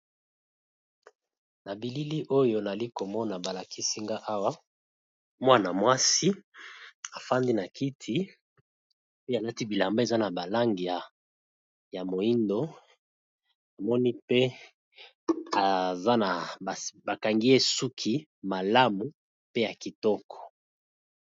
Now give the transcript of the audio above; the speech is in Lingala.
Na bilili oyo nazali komona balakisi ngai awa mwana mwasi afandi na kiti pe alati bilamba eza na langi ya moyindo pe bakangi ye suki malamu pe kitoko.